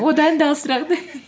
одан да алысырақ да